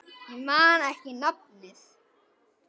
Ég man ekki nafnið.